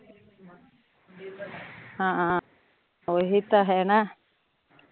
ਹਾਂ ਓਹੀ ਤਾਂ ਹੈ ਨਾ